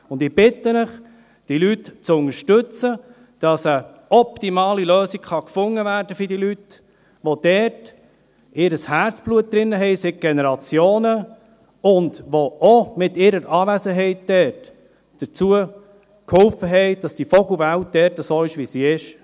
Ich bitte Sie, diese Leute zu unterstützen, damit eine optimale Lösung gefunden werden kann für diese Leute, die dort seit Generationen ihr Herzblut drin haben und die mit ihrer Anwesenheit auch dazu beigetragen haben, dass die Vogelwelt dort so ist, wie sie ist.